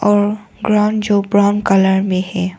और ग्राउंड जो brown colour में है।